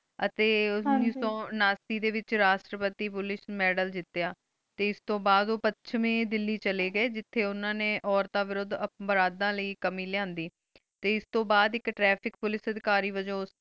ਅਤੀ ਜਿਦੁਨ ਉਨਾਸੀ ਡੀ ਵੇਚ ਰਸ੍ਤ ਪਤੀ ਪੁਲਿਕੇ ਮਾਦ੍ਲੇ ਜੀਤੇਯਾ ਟੀ ਇਸ ਤੂੰ ਬਾਦ ਊਪੇਚ੍ਯ ਦਿਲੀ ਚਲੀ ਗੀ ਜੇਠੀ ਉਨਾ ਨੀ ਉਰਤਾਂ ਬੁਰੁਦ ਬੇਰਾੜਨ ਲੈ ਕਮੀ ਲ੍ਯਾਂਦੀ ਟੀ ਇਸ ਤੂੰ ਬਾਦ ਤ੍ਰਿਫਿਕ ਪੁਲਿਕੇ